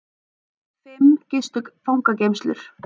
Fimm gistu fangageymslur